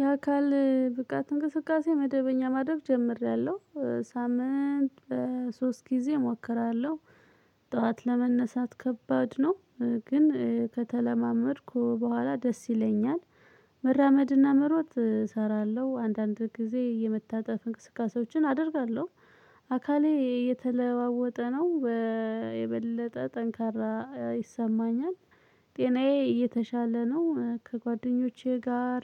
የአካል ብቃት እንቅስቃሴ መደበኛ ማድረግ ጀምሬያለሁ ሳምንት ሶስት ጊዜ እሞክራለሁ። ጠዋት ለመነሳት ከባድ ነው። ግን ከተለማመድኩ በኋላ ደስ ይለኛል። መራመድና መሮጥ እሰራለሁ አንዳንድ ጊዜ የመታጠፍ እንቅስቃሴዎችን አደርጋለሁ። አካሌ እየተለዋወጠ ነው። የበለጠ ጥንካሬ ይሰማኛል። ጤናዬ እየተሻለ ነው ከጓደኞቼ ጋር